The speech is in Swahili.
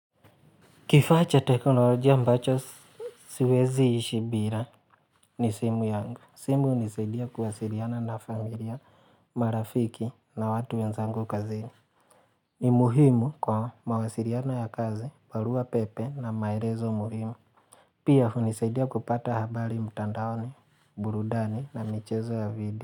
Kifaa cha teknolojia ambacho siwezi ishi bila ni simu yangu. Simu hunisadia kuwasiliana na familia, marafiki na watu wenzangu kazini. Ni muhimu kwa mawasiliano ya kazi, barua pepe na maelezo muhimu. Pia hunisaidia kupata habari mtandaoni, burudani na michezo ya video.